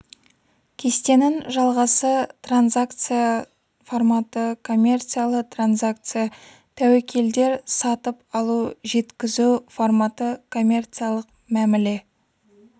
кестенің жалғасы транзакция форматы коммерциялы транзакция тәуекелдер сатып алу жеткізу форматы коммерциялық мәміле